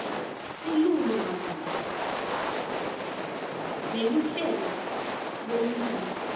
silulumagama neluhlelo lwelulwimi